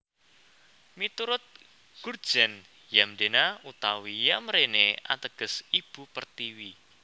Miturut Gurtjens Yamdena utawi Yamrene ateges Ibu Pertiwi